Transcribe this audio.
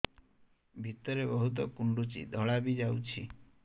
ଭିତରେ ବହୁତ କୁଣ୍ଡୁଚି ଧଳା ବି ଯାଉଛି